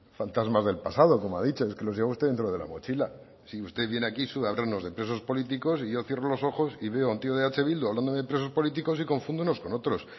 fantasmas del pasado como ha dicho es que los lleva usted dentro de la mochila si usted viene aquí solo ha hablarnos de presos políticos y yo cierro los ojos y veo a un tío de eh bildu hablando de presos políticos y confunde unos con otros